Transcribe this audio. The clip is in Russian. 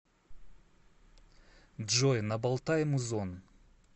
джой набалтай музон